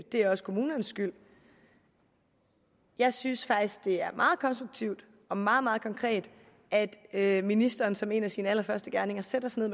er også kommunernes skyld jeg synes faktisk det er meget konstruktivt og meget meget konkret at ministeren som en af sine allerførste gerninger sætter sig